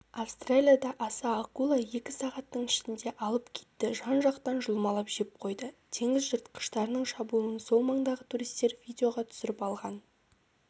австралияда аса акула екі сағаттың ішінде алып китті жан-жақтан жұлмалап жеп қойды теңіз жыртқыштарының шабуылын сол маңдағы туристер видеоға түсіріп алған